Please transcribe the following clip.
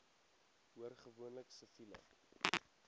hoor gewoonlik siviele